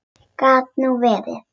Gat nú verið!